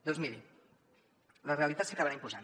doncs miri la realitat s’acabarà imposant